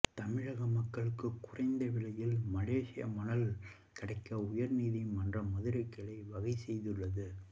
தமிழக மக்களுக்கு குறைந்த விலையில் மலேசிய மணல் கிடைக்க உயர்நீதிமன்ற மதுரை கிளை வகை செய்துள்ளது